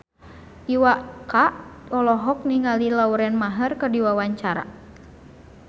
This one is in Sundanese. Iwa K olohok ningali Lauren Maher keur diwawancara